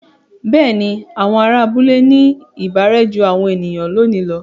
Bẹ́ẹ̀ni, àwọn ará abúlé ní ìbárẹ́ jú àwọn ènìyàn lónìí lọ.